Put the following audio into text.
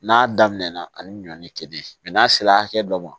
N'a daminɛna ani ɲɔɔni ke n'a sera hakɛ dɔ ma